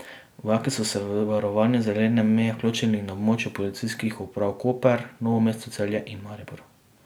Vojaki so se v varovanje zelene meje vključili na območju policijskih uprav Koper, Novo mesto, Celje in Maribor.